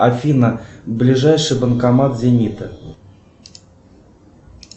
афина ближайший банкомат зенита